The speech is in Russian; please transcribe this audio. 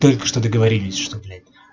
только что договорились что блять